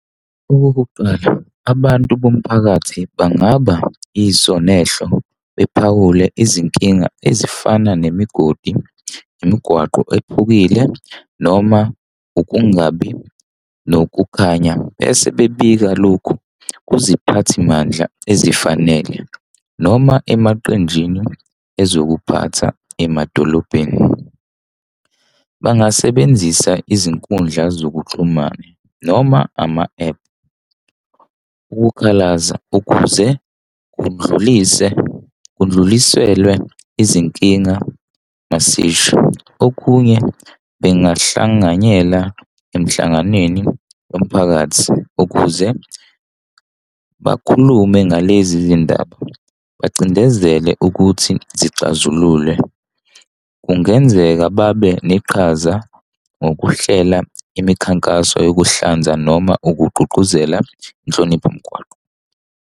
Okokuqala abantu bomphakathi bangaba iso nehlo, bephawule izinkinga ezifana nemigodi, imigwaqo ephukile noma ukungabi nokukhanya, bese bebika lokhu kwiziphathi mandla ezifanele noma emaqenjini ezokuphatha emadolobheni. Bangasebenzisa izinkundla zokuxhumana noma ama-ephu ukukhalaza ukuze kundlulise, kundluliselwe izinkinga nezisho. Okunye bengahlanganyela emhlanganweni womphakathi ukuze bakhulume ngalezi zindaba, bacindezele ukuthi sixazululwe. Kungenzeka babe neqhaza ngokuhlela imikhankaso yokuhlanza noma ukugqugquzela inhlonipho mgwaqo.